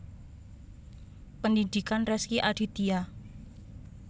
Pendhidhikan Rezky Aditya